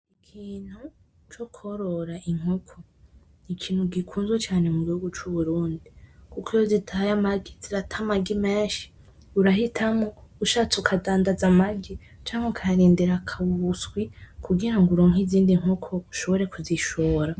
Ikintu cukworora inkoko nikintu gikunzwe cane mugihugu cuburundi kuko iyo zitaye amagi zirata amagi menshi urahitamwo ushatse ukadandaza amagi canke ukayarindira akaba ubuswi kugiramwo uronke izindi nkoko ushobore kuzishora.